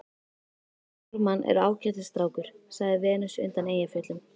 Jón Ármann er ágætis strákur, sagði Venus undan Eyjafjöllum.